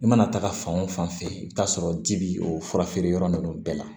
I mana taaga fan o fan fɛ i bi t'a sɔrɔ ji bi o fura feere yɔrɔ ninnu bɛɛ la